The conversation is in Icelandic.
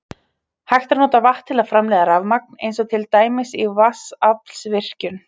Hægt er að nota vatn til að framleiða rafmagn eins og til dæmis í vatnsaflsvirkjun.